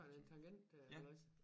Sådan en tangent øh halløjsa